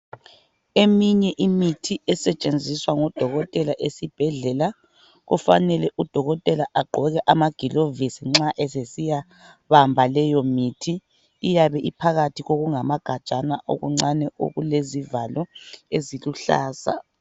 Eminye imithi esetshenziswa ngudokotela esibhedlela, kufanele udokotela agqoke amagilovisi nxa esesiya bamba leyo mithi, iyabe iphakathi kokungamagajana okuncane okulezivalo eziluhlaza.